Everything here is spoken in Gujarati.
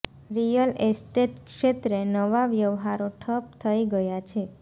રિયલ એસ્ટેટ ક્ષેત્રે નવા વ્યવહારો ઠપ થઇ ગયા છે